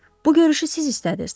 Bu görüşü siz istədiz.